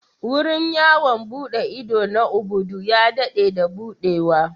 Wurin yawon buɗe ido na Ubudu ya daɗe da buɗewa.